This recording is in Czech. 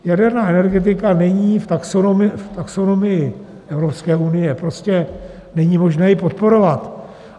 Jaderná energetika není v taxonomii Evropské unie, prostě není možné ji podporovat.